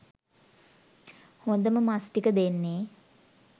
හොදම මස් ටික දෙන්නේ